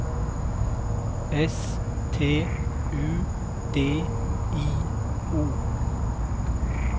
S T U D I O